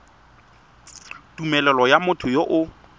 tumelelo ya motho yo o